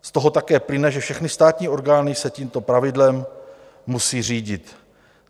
Z toho také plyne, že všechny státní orgány se tímto pravidlem musí řídit.